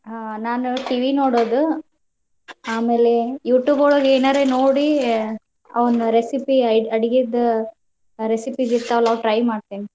ಅಹ್ ನಾನು TV ನೋಡೋದ್ ಆಮೇಲೆ Youtube ಒಳಗ್ ಏನಾರೆ ನೋಡಿ ಅವ್ನ್, Speaker 2: recipe ಅಡ್ಗಿದ್ recipe ಇರ್ತಾವ್ಲ್ ಆವ್ try ಮಾಡ್ತೇನಿ.